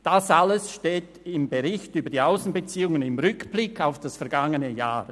Dies alles steht im Bericht über die Aussenbeziehungen im Rückblick aufs vergangene Jahr.